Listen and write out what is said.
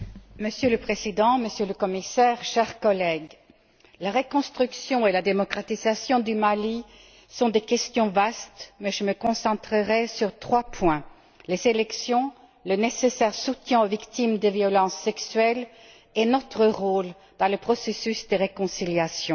Madame la Présidente, Monsieur le Commissaire, chers collègues, la reconstruction et la démocratisation du Mali sont des questions vastes, mais je me concentrerai sur trois points les élections, le soutien nécessaire aux victimes des violences sexuelles et notre rôle dans le processus de réconciliation.